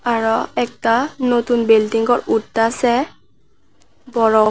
আরো একটা নতুন বিল্ডিংও উঠতাসে বড়--